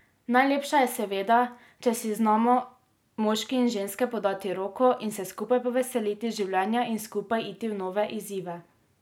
Najlepše je seveda, če si znamo moški in ženske podati roko in se skupaj poveseliti življenja in skupaj iti v nove izzive.